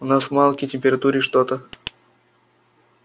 у нас малкий температурит что-то